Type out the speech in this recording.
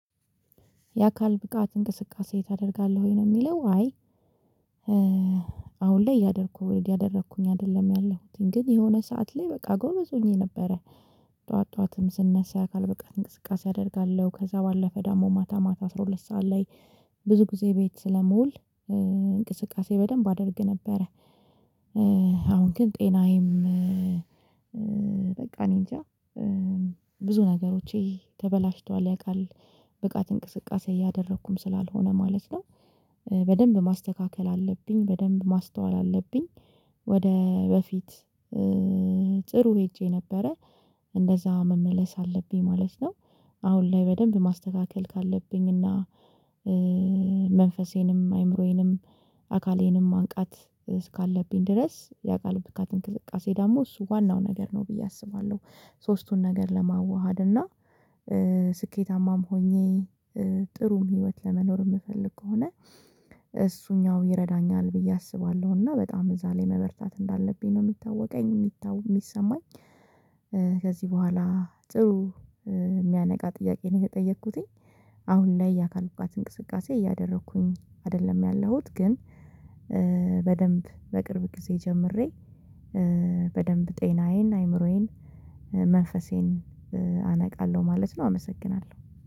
የአካል ብቃት እንቅስቃሴ ታደርጋለህ ወይ ነው የሚለው? አይ አሁን ላይ እያደረኩ እያደረኩኝ አይደለም ያለሁትን ግን የሆነ ሰዓት ላይ በቃ ጎበዝ ሆኜ ነበረ። ጠዋት ጠዋትም ስነሳ የአካል በቃ እንቅስቃሴ አደርጋለሁ። ከዛ ባለፈ ደግሞ ማታ ማታ አስራ ሁለት ሰዓት ላይ ብዙ ጊዜ ቤት ስለመውል እንቅስቃሴ በደንብ አደርግ ነበረ። አሁን ግን ጤናዬም እኔ እንጃ ብዙ ነገሮቼ ተበላሽተዋል ያአካል ብቃት እንቅስቃሴ እያደረኩም ስላልሆነ ማለት ነው። በደንብ ማስተካከል አለብኝ በደንብ ማስተዋል አለብኝ። ወደ በፊት ጥሩ ሄጄ ነበረ እንደዛ መመለስ አለብኝ። ማለት አሁን ላይ በደንብ ማስተካከል ካለብኝ እና መንፈሴንም አይምሮዬንም አካሌንም ማንቃት እስካለብኝ ድረስ የአካል ብቃት እንቅስቃሴ ደግሞ እሱ ዋናው ነገር ነው ብዬ አስባለሁ። ሶስቱን ነገር ለማዋሃድ እና ስኬታማም ሆኜ ጥሩም ህይወት ለመኖር የምፈልግ ከሆነ እሱኛው ይረዳኛል ብዬ አስባለሁ እና በጣም እዛ ላይ መበርታት እንዳለብኝ ነው የሚታወቀኝ የሚሰማኝ። ከዚህ በኋላ ጥሩ የሚያነቃ ጥያቄ ነው የተጠየኩትኝ። አሁን ላይ የአካል ብቃት እንቅስቃሴ እያደረኩኝ አይደለም ያለሁት ግን በደንብ በቅርብ ጊዜ ጀምሬ በደንብ ጤናዬን አይምሮዬን መንፈሴን አነቃለሁ ማለት ነው። አመሰግናለሁ